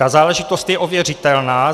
Ta záležitost je ověřitelná.